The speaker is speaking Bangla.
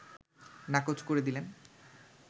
নাকচ করে দিলেন